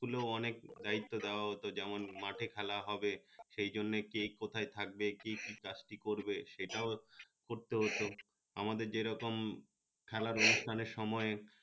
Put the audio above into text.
school অনেক দায়িত্ব দেওয়া হত যেমন মাঠে খেলা হবে সে জন্যে কে কোথায় থাকবে কি কি কাজ টি করবে সেটাও করতে হত আমাদের যে রকম খেলার অনুষ্ঠানের সময়